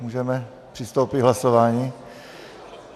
Můžeme přistoupit k hlasování?